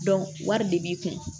wari de b'i kun